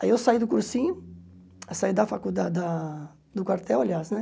Aí eu saí do cursinho, saí da faculdade, da do quartel, aliás, né?